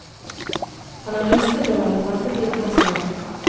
Han er rystet over at ventetiden er så lang.